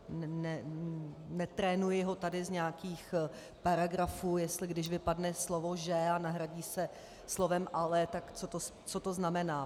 Netrénuji ho tady z nějakých paragrafů, jestli když vypadne slovo že a nahradí se slovem ale, tak co to znamená.